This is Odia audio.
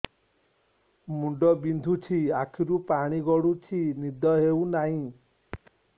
ମୁଣ୍ଡ ବିନ୍ଧୁଛି ଆଖିରୁ ପାଣି ଗଡୁଛି ନିଦ ହେଉନାହିଁ